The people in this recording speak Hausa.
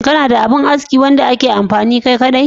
Kana da abin aski wanda kake amfani kai kaɗai?